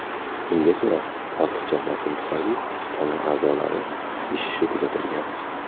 Unga ko‘ra, ortiqcha bosim tufayli tana a’zolari ishishi kuzatilgan.